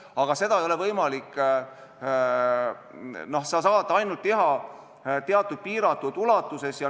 Aga sa saad seda teha ainult teatud piiratud ulatuses.